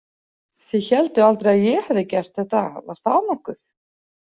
Þið hélduð aldrei að ég hefði gert þetta, var það nokkuð?